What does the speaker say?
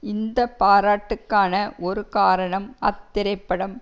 இந்த பாராட்டுக்கான ஒரு காரணம் அத்திரைப்படம்